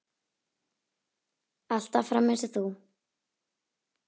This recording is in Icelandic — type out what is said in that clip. Alltaf fram eins og þú.